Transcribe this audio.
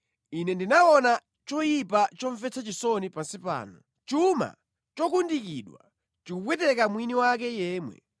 Ine ndinaona choyipa chomvetsa chisoni pansi pano: chuma chokundikidwa chikupweteka mwini wake yemwe,